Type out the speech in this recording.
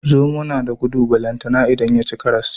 Zomo nada gudu balantana idan yaci karas